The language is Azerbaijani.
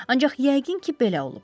Ancaq yəqin ki, belə olub.